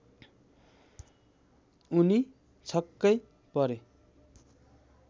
उनी छक्कै परे